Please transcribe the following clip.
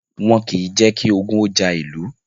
Wọ́n kìí jẹ́ kí ogun ó ja ìlú